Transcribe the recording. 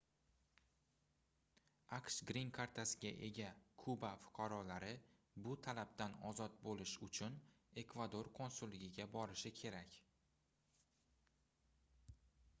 aqsh grin kartasiga ega kuba fuqarolari bu talabdan ozod boʻlish uchun ekvador konsulligiga borishlari kerak